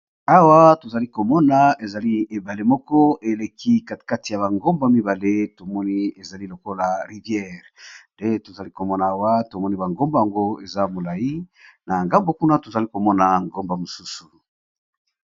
Awa to zali ko mona ezali ebale moko eleki katikati ya ba ngomba mibale. To moni ezali lokola rivière nde to zali ko mona awa to moni ba ngomba yango eza molayi, na ngambo kuna to zali ko mona ngomba mosusu .